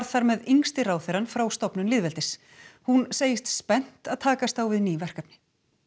þar með yngsti ráðherrann frá stofnun lýðveldis hún segist spennt að takast á við ný verkefni